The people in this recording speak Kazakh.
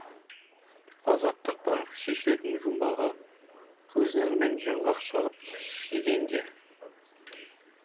азаттық бар шешілетін жұмбағы көз нұрымен жаңғақ шағып жегенге